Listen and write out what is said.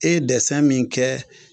E ye dɛsɛ min kɛ